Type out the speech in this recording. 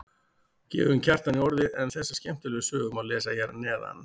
Gefum Kjartani orðið en þessa skemmtilegu sögu má lesa hér að neðan.